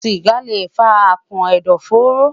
Siga le fa akàn ẹdọfóró